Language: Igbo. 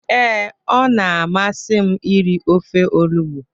Ee, ọ na-amasị m iri ofe olugbu